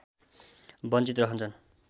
वञ्चित रहन्छन्